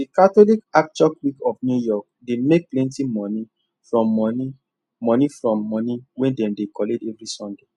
the catholic archiocewe of new york dey make plenty money from money money from money wey dem dey collect every sunday